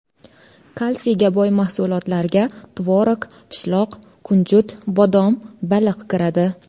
Kalsiyga boy mahsulotlarga tvorog, pishloq, kunjut, bodom, baliq kiradi.